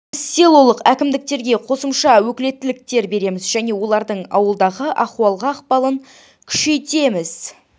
біз селолық әкімдіктерге қосымша өкілеттіктер береміз және олардың ауылдағы ахуалға ықпалын күшейтеміз